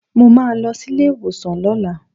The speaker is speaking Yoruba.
Mo máa lọ sílé ìwòsàn lọ́la